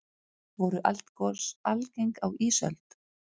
voru eldgos algeng á ísöld